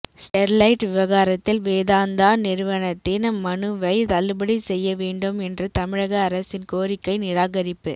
Sterlite விவகாரத்தில் வேதாந்தா நிறுவனத்தின் மனுவை தள்ளுபடி செய்ய வேண்டும் என்ற தமிழக அரசின் கோரிக்கை நிராகரிப்பு